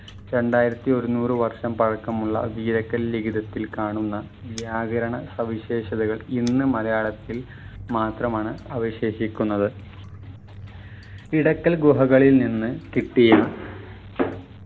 രണ്ടായിരത്തി ഒരുന്നൂറു വർഷം പഴക്കമുള്ള വീരക്കൽ ലിഖിതത്തിൽ കാണുന്ന വ്യാകരണ സവിശേഷതകൾ ഇന്ന് മലയാളത്തിൽ മാത്രമാണ് അവശേഷിക്കുന്നത് ഇടക്കൽ ഗുഹകളിൽ നിന്ന് കിട്ടിയ